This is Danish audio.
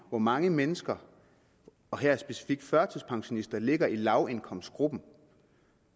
hvor mange mennesker og her specifikt førtidspensionister der ligger i lavindkomstgruppen